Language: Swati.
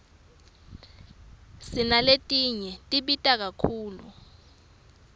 sinaletinye tibita kakhulu